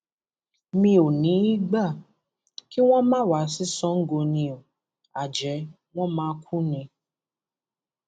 mi ò ní í í gbà kí wọn má wá sí sango ni o àjẹ wọn máa kú ni